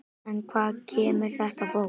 En hvaðan kemur þetta fólk?